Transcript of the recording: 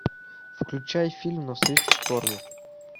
включай фильм навстречу шторму